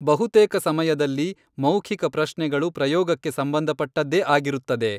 ಬಹುತೇಕ ಸಮಯದಲ್ಲಿ ಮೌಖಿಕ ಪ್ರಶ್ನೆಗಳು ಪ್ರಯೋಗಕ್ಕೆ ಸಂಬಂಧಪಟ್ಟದ್ದೇ ಆಗಿರುತ್ತದೆ.